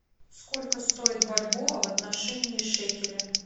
сколько стоит бальбоа в отношении шекеля